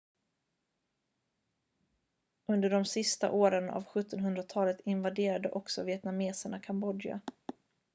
under de sista åren av 1700-talet invaderade också vietnameserna kambodja